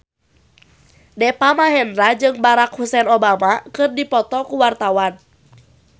Deva Mahendra jeung Barack Hussein Obama keur dipoto ku wartawan